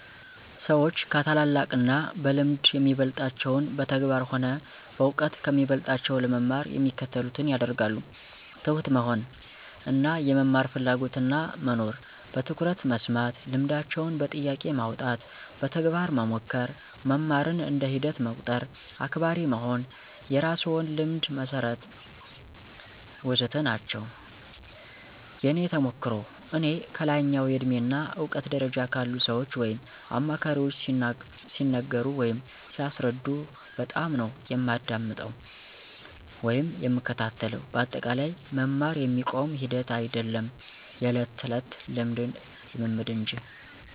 ሰዎች ከታላላቅ እና በልምድ የሚበልጣቸውን በተግባር ሆነ በእውቀት ከሚበልጦቸው ለመማር የሚከተሉትን ያደርጋሉ፦ ትሁት መሆን እና የመማር ፍላጎትና መኖር፣ በትኩረት መስማት፣ ልምዳቸውን በጥያቄ ማውጣት፣ በተግባር መሞከር፣ መማርን እንደ ሂደት መቁጠር፣ አክባሪ መሆን፣ የራስዎን ልምድ መሠርት... ወዘተ ናቸው። የእኔ ተሞክሮ፦ እኔ ከላይኛው የእድሜ እና እውቀት ደረጃ ካሉ ሰዎች ወይም አማካሪዎች ሲነገሩ ወይም ሲያስረዱ በጣምነው የማዳምጠው ወይም የምከታተለው በአጠቃላይ መማር የሚቆም ሂደት አይዶለም የዕለት ተዕለት ልምምድ እንጂ።